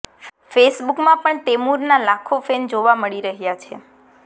fake બૂકમાં પણ તૈમૂરના લખો ફૈન જોવા મળી રહ્યા છે